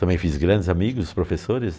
Também fiz grandes amigos, professores.